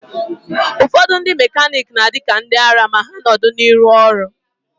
Ụfọdụ ndị mekaniki na-adị ka ndịara ma ha nọdụ n'ihu ọrụ.